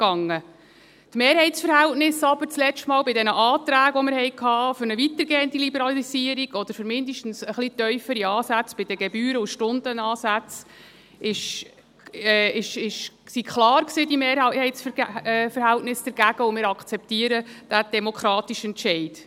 Aber die Mehrheitsverhältnisse für eine weitergehende Liberalisierung oder für mindestens ein wenig tiefere Ansätze bei den Gebühren und Stundenansätze, die wir beim letzten Mal bei den Anträgen hatten, waren klar, und wir akzeptieren diesen demokratischen Entscheid.